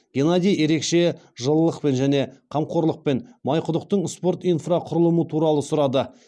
геннадий ерекше жылылықпен және қамқорлықпен майқұдықтың спорт инфрақұрылымы туралы сұрады